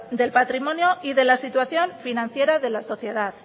del patrimonio y de la situación financiera de la sociedad